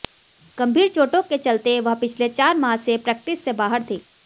गंभीर चोटों के चलते वह पिछले चार माह से प्रैक्टिस से बाहर थी